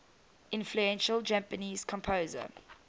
influential japanese composer